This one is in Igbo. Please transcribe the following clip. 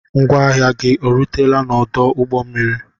Ngwa ahịa gị erutela n'odu ụgbọ mmiri?